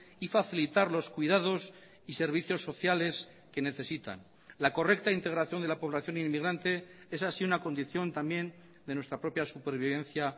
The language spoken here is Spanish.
y facilitar los cuidados y servicios sociales que necesitan la correcta integración de la población inmigrante es así una condición también de nuestra propia supervivencia